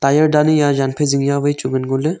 Ayan dani a jan phai jing ja wai chu ngan ngo le.